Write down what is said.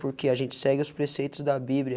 Porque a gente segue os preceitos da Bíblia,